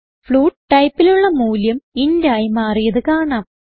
float ടൈപ്പിലുള്ള മൂല്യം int ആയി മാറിയത് കാണാം